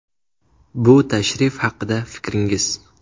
Bu tashrif haqida fikringiz.